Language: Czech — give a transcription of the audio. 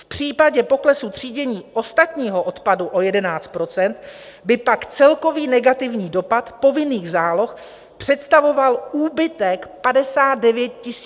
V případě poklesu třídění ostatního odpadu o 11 % by pak celkový negativní dopad povinných záloh představoval úbytek 59 200 tun tříděného sběru.